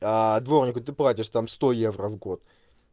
дворнику ты платишь там сто евро в год